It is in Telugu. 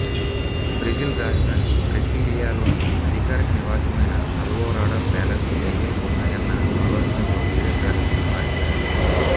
బ్రెజిల్ రాజధాని బ్రసీలియాలోని అధికారిక నివాసమైన అల్వోరాడా ప్యాలెస్లో దయ్యాలు ఉన్నాయన్న ఆలోచనతో వేరే ప్యాలెస్కు మారిపోయారు